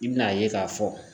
I bin'a ye k'a fɔ